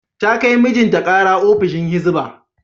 Ta kai mijinta kara ofishin Hizba.